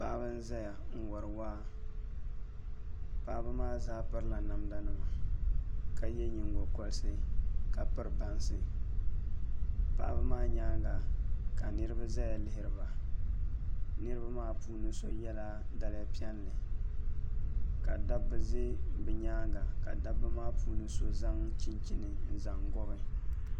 Paɣaba n ʒɛya n wori waa paɣaba maa zaa pirila namda nima ka yɛ nyingokoriti ka piri bansi paɣaba maa nyaanga ka niraba ʒɛya lihiriba niraba maa puuni so yɛla daliya piɛlli ka dabba ʒɛ bi nyaanga ka dabba maa puuni so zaŋ chinchini n zaŋ gobi